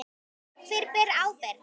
Hver ber ábyrgð?